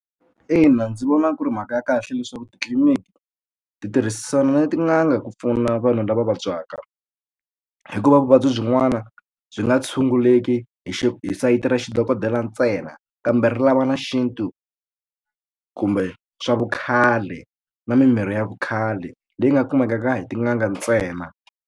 Ina ndzi vona ku ri mhaka ya kahle leswaku titliliniki ti tirhisana na tin'anga ku pfuna vanhu lava vabyaka hikuva vuvabyi byin'wana byi nga tshunguleki hi hi sayiti ra xi dokodela ntsena kambe ri lava na xintu kumbe swa vukhale na mimirhi ya vukhale leyi nga kumekaka hi tin'anga ntsena.